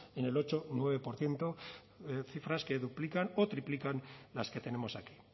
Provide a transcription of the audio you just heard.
en el ocho y nueve por ciento cifras que duplican o triplican las que tenemos aquí